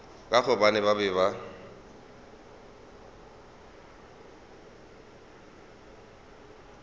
ka gobane ba be ba